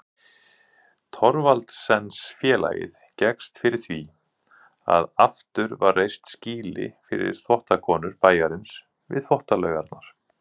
Thorvaldsensfélagið gekkst fyrir því að aftur var reist skýli fyrir þvottakonur bæjarins við Þvottalaugarnar.